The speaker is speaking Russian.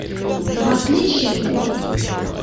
в отличие от